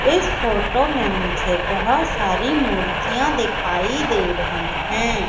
इस फोटो में मुझे बहुत सारी मूर्तियां दिखाई दे रही हैं।